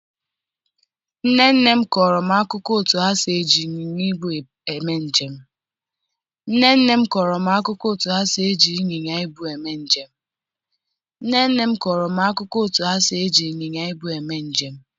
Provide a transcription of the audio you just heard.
nne nne m kọrọ m akụkọ otú ha si eji ịnyịnya ibu eme njem.